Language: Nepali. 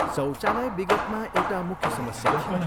शौचालय विगतमा एउटा मुख्य समस्या थियो।